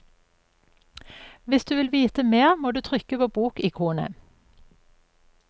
Hvis du vil vite mer må du trykke på bokikonet.